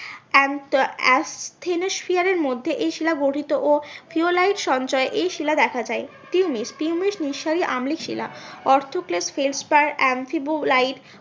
মধ্যে এই শিলা গঠিত ও ফিওলাইট সঞ্চয়ে এই শিলা দেখা যায় পিউমিস পিউমিস নিঃসারী আম্লিক শিলা